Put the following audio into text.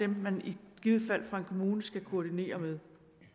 man i givet fald fra en kommunes side skal koordinere med